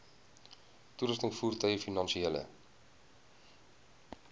toerusting voertuie finansiële